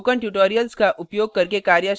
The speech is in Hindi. spoken tutorials का उपयोग करके कार्यशालाएँ भी चलाती है